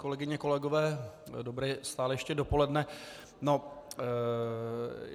Kolegyně, kolegové dobré, stále ještě, dopoledne.